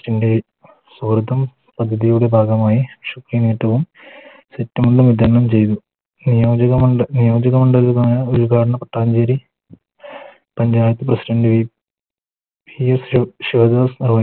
ൻറെ ഭാഗമായി സെറ്റും മുണ്ടും വിതരണം ചെയ്തു നിയോജക നിയോജക മണ്ഡലമായ ഉദ്‌ഘാടനം പട്ടാഞ്ചേരി പഞ്ചായത്ത് PresidantP ശിവദാസ്